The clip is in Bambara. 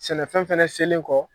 Sɛnɛfɛn fana selen kɔ